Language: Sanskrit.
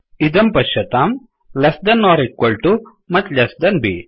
इदं पश्यताम् less than or equal to much less than B